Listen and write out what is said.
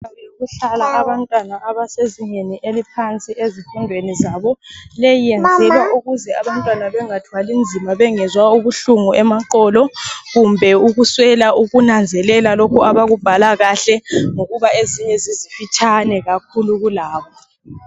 Kuhlala abantwana abasezingeni eliphansi ezifundweni zabo. Leyi yenzelwa ukuze abantwana bengathwali nzima, bengezwa ubuhlungu emaqolo, kumbe ukuswela ukunanzelela lokho abakubhala kahle, ngokuba ezinye zizimfitshane kakhulu kulabo.